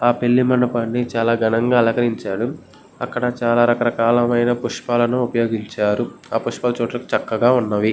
ఆ పెళ్లి మండపాన్ని చాలా ఘనంగా అలంకరించారు అక్కడ చాలా రకరకాల మైన పుష్పాలను ఉపయోగించారు ఆ పుష్పాలు చూడ్డానికి చాలా చక్కగా ఉన్నవి.